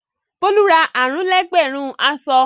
Bólú ra àrùn-lé-ẹgbẹ̀rún aṣọ.